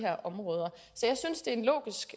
områder så jeg synes det er en logisk